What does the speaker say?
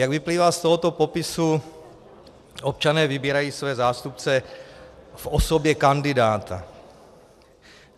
Jak vyplývá z tohoto popisu, občané vybírají své zástupce v osobě kandidáta.